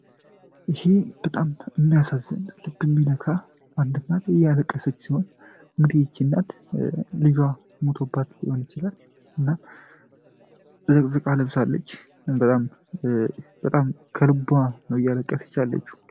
ይህ የሚያሳዝን ፣ልብ የሚነካ አንድ እናት እያለቀሰች ሲሆን እንግዲህ ይች እናት ልጇ ሙቶባት ሊሆን ይችላል ዘቅዝቃ ለብሳለች እና በጣም ከልቧ ነው እያለቀሰች ያለችው።